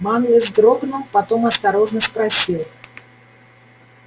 манлис вздрогнул потом осторожно спросил